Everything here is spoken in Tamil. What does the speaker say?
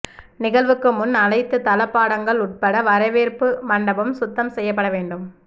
நிகழ்வுக்கு முன் அனைத்து தளபாடங்கள் உட்பட வரவேற்பு மண்டபம் சுத்தம் செய்யப்பட வேண்டும்